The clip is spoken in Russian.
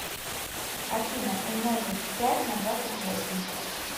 афина умножить пять на двадцать восемь